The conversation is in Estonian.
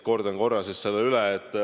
Kordan korra selle üle.